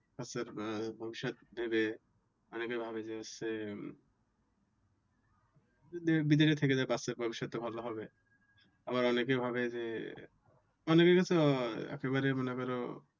বাচ্চার ভবিষ্যৎ ভেবে অনেকে ভাবে যে হচ্ছে বিদেশে থেকে যাই বাচ্চার ভবিষ্যৎ টা ভালো হবে। আবার অনেকেই ভাবে যে অনেকের কাছে একেবারে মনে করো।